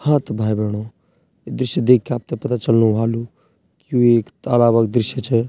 हाँ त भाई-भेणाे यी दृश्य दिख्के आपथे पता चलणु वालू की यु एक तालाब क दृश्य च।